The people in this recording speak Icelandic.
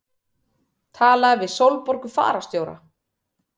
Tala við Sólborgu fararstjóra.